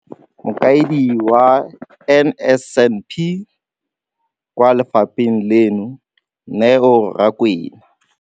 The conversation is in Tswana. Mokaedi wa NSNP kwa lefapheng leno, Neo Rakwena.